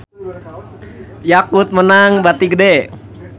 Yakult meunang bati gede